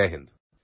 Jay Hind